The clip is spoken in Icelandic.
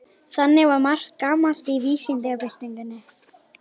Þannig var margt gamalt í vísindabyltingunni.